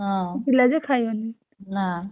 ପିଲାଯେ ଖାଇବନି।